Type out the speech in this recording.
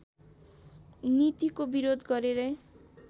नीतिको विरोध गरेरै